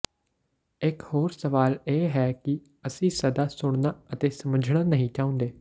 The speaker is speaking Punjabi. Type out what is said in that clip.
ਇਕ ਹੋਰ ਸਵਾਲ ਇਹ ਹੈ ਕਿ ਅਸੀਂ ਸਦਾ ਸੁਣਨਾ ਅਤੇ ਸਮਝਣਾ ਨਹੀਂ ਚਾਹੁੰਦੇ